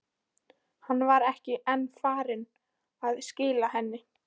Hann var ekki enn farinn að skila henni.